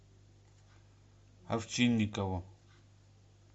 овчинникову